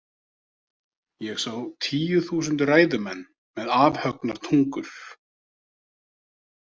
Ég sá tíu þúsund ræðumenn með afhöggnar tungur.